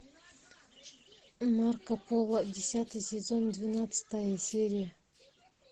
марко поло десятый сезон двенадцатая серия